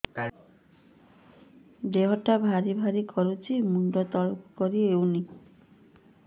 ଦେହଟା ଭାରି ଭାରି କରୁଛି ମୁଣ୍ଡ ତଳକୁ କରି ହେଉନି